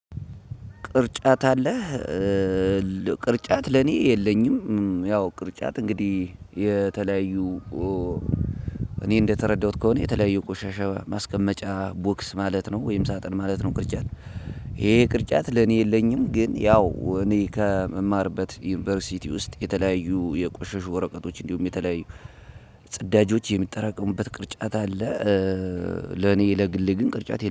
ቅርጫት አለህ? ቅርጫት ለኔ የለኝም። ያው ቅርጫት እንግዲህ የተለያዩ እኔ እንደተረዳሁት ከሆነ የተለያዩ ቆሻሻ ማስቀመጫ ቦክስ ማለት ነው። ወይም ሳጥን ማለት ነው። ቅርጫት ይሄ ቅርጫት ለኔ የለኝም። ግን ያው እኔ ከምማርበት ዩኒቨርሲቲ ውስጥ የተለያዩ የቆሸሹ ወረቀቶች እንዲሁም የተለያዩ ጽዳጆች የሚጠራቀሙበት ቅርጫት አለ። ለኔ ለግሌ ግን ቅርጫት